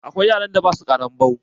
Akwai wasu yaran da ba sua ƙaranbau